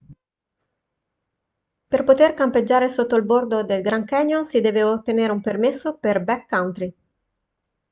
per poter campeggiare sotto il bordo del grand canyon si deve ottenere un permesso per backcountry